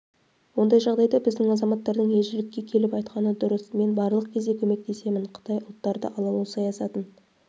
ондай жағдайда біздің азаматтардың елшілікке келіп айтқаны дұрыс мен барлық кезде көмектесемін қытай ұлттарды алалау саяатын